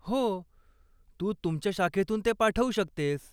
हो, तू तुमच्या शाखेतून ते पाठवू शकतेस.